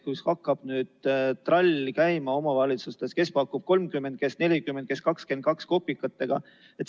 Kus nüüd hakkab trall käima omavalitsustes, kes pakub 30, kes 40, kes 22 kopikatega.